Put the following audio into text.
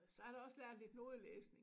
Så har jeg da også lært lidt nodelæsning